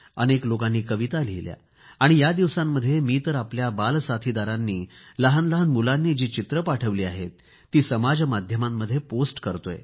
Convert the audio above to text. अनेक लोकांनी कविता लिहिल्या आणि या दिवसांमध्ये मी तर आपल्या बालसाथीदारांनी लहानलहान बालकांनी जी चित्रे पाठवली आहेत ती समाज माध्यमांमध्ये पोस्ट करतोय